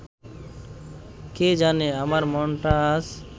কে জানে আমার মনটা আজ